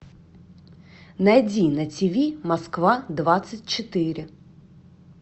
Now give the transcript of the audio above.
найди на тв москва двадцать четыре